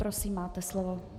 Prosím, máte slovo.